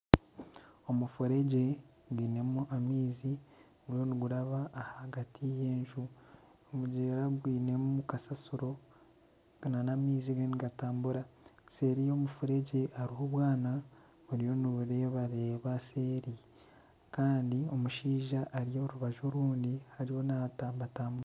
Omufuregye gwinemu amaizi guriyo niguraba ahagati y'enju . Omugyera gwinemu kasasiro n'amaizi gariyo nigatambura, seeri y'omufuregye haribo obwana buri rito niburebareba seeri kandi omushaija ari orubaju orundi ariyo natambatambura.